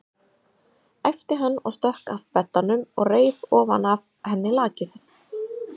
æpti hann og stökk að beddanum og reif ofan af henni lakið.